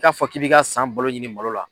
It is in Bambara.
I k'a fɔ k'i b'i ka san balo ɲini malo la